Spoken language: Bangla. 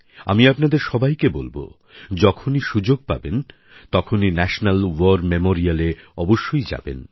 আমি আপনাদের সবাইকে বলব যখনই সুযোগ পাবেন তখনই ন্যাশনাল ওয়ার মেমোরিয়ালে অবশ্যই যাবেন